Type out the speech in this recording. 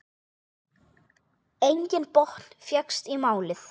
Enginn botn fékkst í málið.